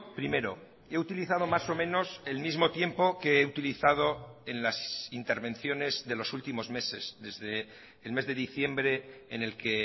primero he utilizado más o menos el mismo tiempo que he utilizado en las intervenciones de los últimos meses desde el mes de diciembre en el que